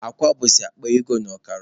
Akwa bụzi akpa ego na ọkara.